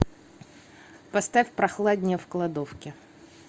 поставь прохладнее в кладовке